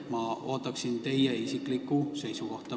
Ma ootan teie kui ministri isiklikku seisukohta.